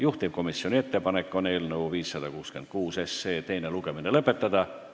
Juhtivkomisjoni ettepanek on eelnõu 566 teine lugemine lõpetada.